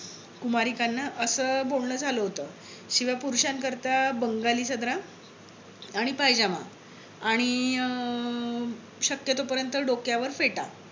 कुमारिकांना अस बोलण झालं होत. शिवाय पुरुषान करिता बंगाली सदरा आणि पायजमा आणि अं शक्यतो पर्यंत डोक्यावर फेटा